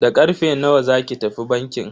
Da karfe nawa zaki tafi bankin?